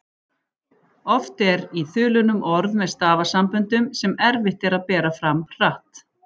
Oft eru í þulunum orð með stafasamböndum sem erfitt er að bera fram hratt.